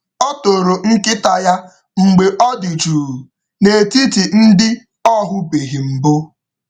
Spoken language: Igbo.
Ọ toro nkịta ya mgbe ọ dị jụụ n’etiti ndị ọ hụbeghị mbụ.